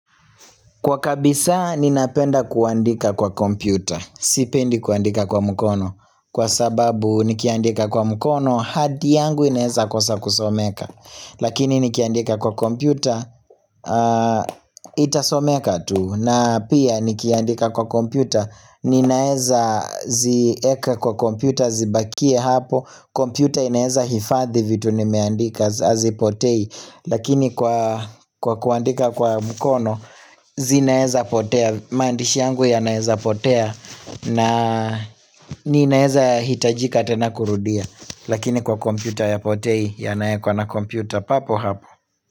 Kwa kabisa ninapenda kuandika kwa kompyuta, sipendi kuandika kwa mkono Kwa sababu nikiandika kwa mukono hati yangu inaezakosa kusomeka Lakini ni kiandika kwa kompyuta itasomeka tu na pia nikiandika kwa kompyuta ninaezazieka kwa kompyuta zibakie hapo kompyuta inaeza hifadhi vitu nimeandika hazipotei Lakini kwa kuandika kwa mkono zinaeza potea maandishi yangu yanaeza potea na ninaeza hitajika tena kurudia Lakini kwa kompyuta hayapotei yanaekwa na kompyuta papo hapo.